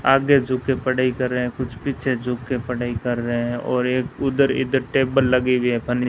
आगे झुक के पढ़ाई कर रहे हैं कुछ पीछे झुक के पढ़ाई कर रहे हैं और एक उधर इधर टेबल लगी हुई है पानी --